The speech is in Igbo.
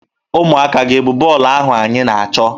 Ụmụaka gị e bu bọọlụ ahụ anyị na-achọ?